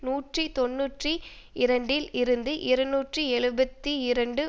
நூற்றி தொன்னூற்றி இரண்டில் இருந்து இருநூற்றி எழுபத்து இரண்டு